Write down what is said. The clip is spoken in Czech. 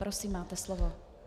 Prosím, máte slovo.